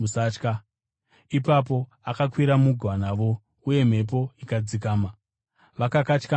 Ipapo akakwira mugwa navo, uye mhepo ikadzikama. Vakakatyamara zvikuru,